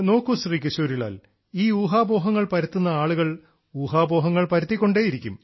നോക്കൂ ശ്രീ കിശോരി ലാൽ ഈ ഊഹാപോഹങ്ങൾ പരത്തുന്ന ആളുകൾ ഊഹാപോഹങ്ങൾ പരത്തിക്കൊണ്ടേയിരിക്കും